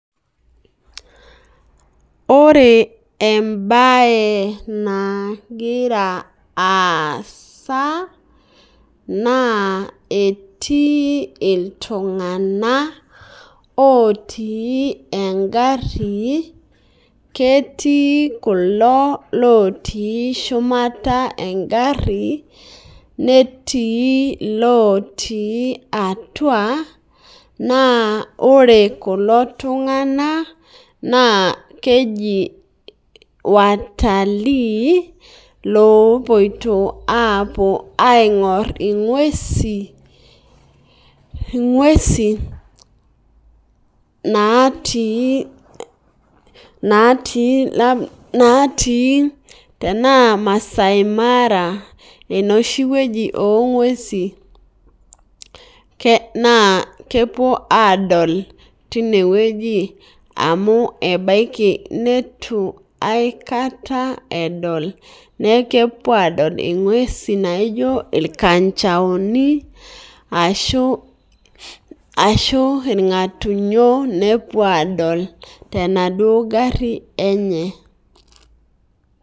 Ore ebae nagira aasa, naa etii iltung'anak, otii egarri, ketii kulo lotii shumata egarri, netii lotii atua, naa ore kulo tung'anak, naa keji watalii, loopoito apuo aing'or ing'uesi, natii, natii enaa Masai Mara enoshi wueji ong'uesi, naa kepuo adol tinewueji, amu ebaiki neitu aikata edol nekepuo adol ing'uesi naijo irkanchaoni, ashu irng'atunyo nepuo adol tenaduo garri enye.